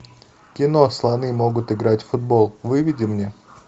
кино слоны могут играть в футбол выведи мне